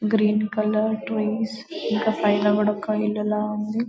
Green colour twins ఇంకా side లా కూడా ఒక ఇల్లులా ఉంది.